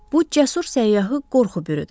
Bu cəsur səyyahı qorxu bürüdü.